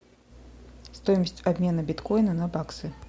стоимость обмена биткоина на баксы